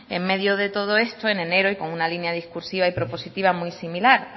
en medio de todo esto en enero y con una línea discursiva y propositiva muy similar